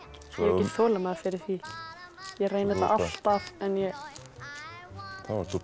þolinmæði fyrir því ég reyni þetta alltaf en ég þá ert þú bara